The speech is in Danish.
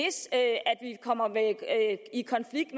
kommer i konflikt